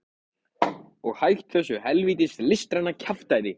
Og hætt þessu hel vítis listræna kjaftæði.